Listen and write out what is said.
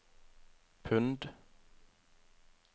pund